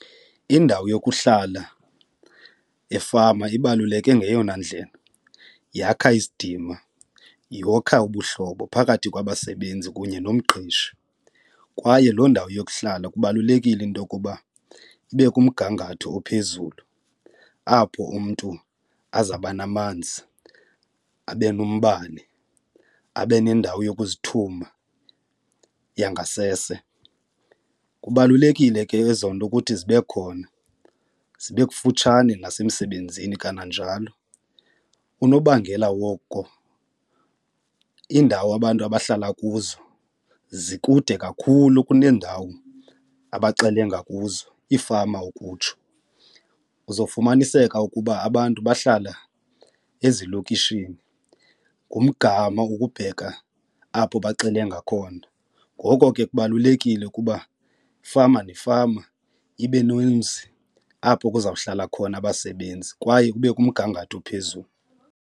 Indawo yokuhlala efama ibaluleke ngeyona ndlela yakha isidima, yokha ubuhlobo phakathi kwabasebenzi kunye nomqeshi, kwaye loo ndawo yokuhlala kubalulekile into okuba ibe kumgangatho ophezulu apho umntu azawuba namanzi abe nombane abe nendawo yokuzithuma yangasese. Kubalulekile ke ezo nto ukuthi zibe khona, zibe kufutshane nasemsebenzini kananjalo unobangela woko indawo abantu abahlala kuzo zikude kakhulu kuneendawo abaxelenga kuzo iifama ukutsho. Uzofumaniseka ukuba abantu bahlala ezilokishini, ngumgama ukubheka apho baxelenga khona ngoko ke kubalulekile ukuba ifama nefama ibe nomzi apho kuzawuhlala khona abasebenzi kwaye ube kumgangatho ophezulu.